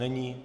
Není.